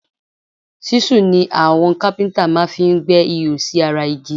ṣísù ni àwọn kápíntà máa fi ń gbẹ́ ihò sí ara igi